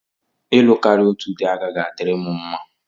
Ịlụ karịa otu dị agaghị adịrị m mma.